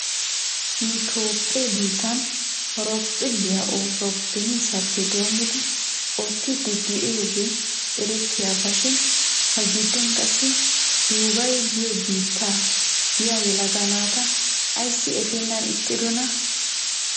Nu toophphee biittan horophphiloyaa oosoy beniisappe doommidi oottiiddi de'iyoogee erettiyaaba shin ha giddon qassi duubaye giyoo biitta biyaa yelaga naata ayssi efeennan ixxidonaa?